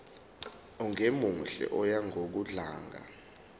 ongemuhle oya ngokudlanga